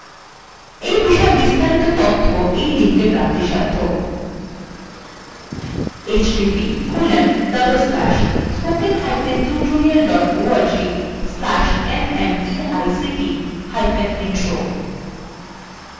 একই উপর আরো তথ্য নিম্নলিখিত link